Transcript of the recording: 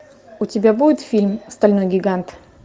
у тебя будет фильм стальной гигант